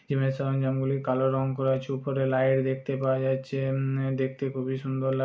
জিম এর সরঞ্জামগুলি কালো রং করা আছে উপরে লাইট দেখতে পাওয়া যাচ্ছে উম দেখতে খুবই সুন্দর লা --